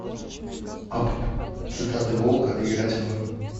апп цитаты волка играть в